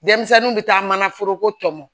Denmisɛnninw bɛ taa mana foroko tɔmɔ